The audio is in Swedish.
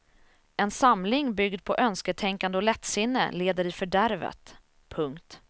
En samling byggd på önsketänkande och lättsinne leder i fördärvet. punkt